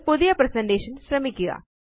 ഒരു പുതിയ പ്രസന്റേഷൻ ശ്രമിക്കുക